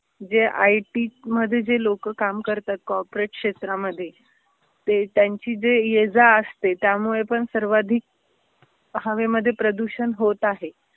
जे I T मध्ये जे लोक काम करतात कॉरपोरेट क्षेत्रामध्ये, ते त्यांची जे ये जा असते त्यामुळे पण सर्वाधिक हवेमध्ये प्रदूषण होत आहे.